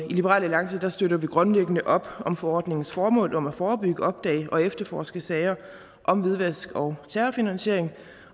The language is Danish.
liberal alliance støtter vi grundlæggende op om forordningens formål om at forebygge opdage og efterforske sager om hvidvask og terrorfinansiering